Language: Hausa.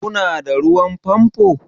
Ku na da ruwan famfo?